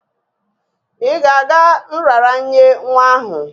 Ị ga-aga nraranye nwa ahụ?